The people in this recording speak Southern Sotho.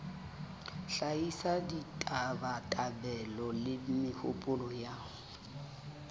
hlahisa ditabatabelo le mehopolo ya